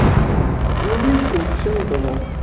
ну в личку напиши мне пожалуйста